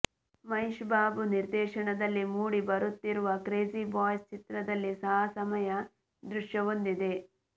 ಮಹೇಶ್ ಬಾಬು ನಿರ್ದೇಶನದಲ್ಲಿ ಮೂಡಿ ಬರುತ್ತಿರುವ ಕ್ರೇಜಿ ಬಾಯ್ಸ್ ಚಿತ್ರದಲ್ಲಿ ಸಾಹಸಮಯ ದೃಶ್ಯವೊಂದಿದೆ